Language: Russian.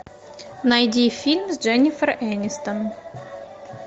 найди фильм с дженнифер энистон